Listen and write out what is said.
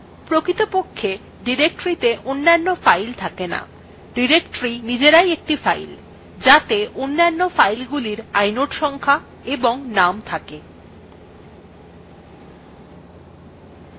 প্রকৃতপক্ষে directoryত়ে অন্যান্য files থাকে names directory নিজেরাই একটি files যাতে অন্যান্য filesগুলির inode সংখ্যা এবং names থাকে